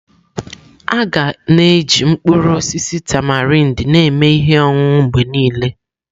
Aga na-eji mkpụrụ osisi tamarind na-eme ihe ọṅụṅụ mgbe niile.